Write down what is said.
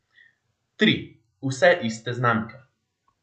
Tri, vse iste znamke.